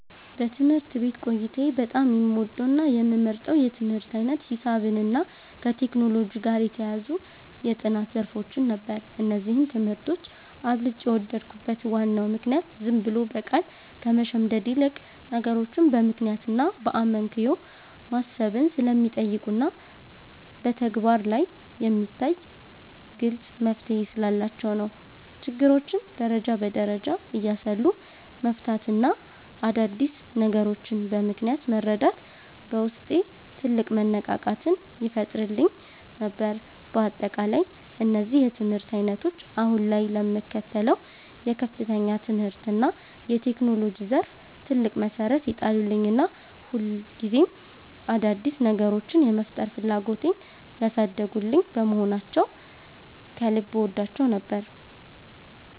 በትምህርት ቤት ቆይታዬ በጣም የምወደውና የምመርጠው የትምህርት ዓይነት ሂሳብንና ከቴክኖሎጂ ጋር የተያያዙ የጥናት ዘርፎችን ነበር። እነዚህን ትምህርቶች አብልጬ የወደድኩበት ዋናው ምክንያት ዝም ብሎ በቃል ከመሸምደድ ይልቅ፣ ነገሮችን በምክንያትና በአመክንዮ ማሰብን ስለሚጠይቁና በተግባር ላይ የሚታይ ግልጽ መፍትሔ ስላላቸው ነው። ችግሮችን ደረጃ በደረጃ እያሰሉ መፍታትና አዳዲስ ነገሮችን በምክንያት መረዳት በውስጤ ትልቅ መነቃቃትን ይፈጥርልኝ ነበር። በአጠቃላይ እነዚህ የትምህርት ዓይነቶች አሁን ላይ ለምከተለው የከፍተኛ ትምህርትና የቴክኖሎጂ ዘርፍ ትልቅ መሠረት የጣሉልኝና ሁልጊዜም አዳዲስ ነገሮችን የመፍጠር ፍላጎቴን ያሳደጉልኝ በመሆናቸው ከልብ እወዳቸው ነበር።